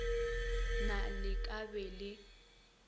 na le ka be le